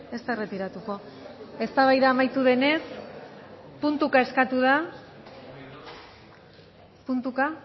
ez da erretiratuko eztabaida amaitu denez puntuka eskatu da puntuka